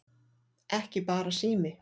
Ekki bara sími